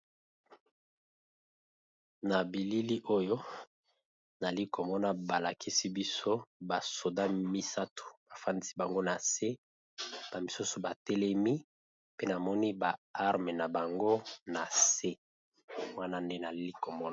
Na bilili oyo nali komona balakisi biso ba sodat misato bafandisi bango nase ba misusu batelemi pe namoni ba armes na bango na se wana nde nali komona.